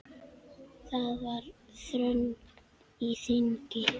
Það var þröng á þingi.